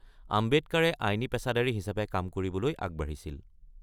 আম্বেদকাৰে আইনী পেছাদাৰী হিচাপে কাম কৰিবলৈ আগবাঢ়িছিল।